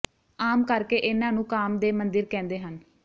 ਆਮ ਕਰ ਕੇ ਇਨ੍ਹਾਂ ਨੂੰ ਕਾਮ ਦੇ ਮੰਦਿਰ ਕਹਿੰਦੇ ਹਨ